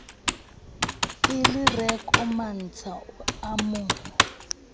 kelereko mantsha o a mo